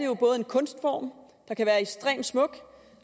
jo både en kunstform der kan være ekstremt smuk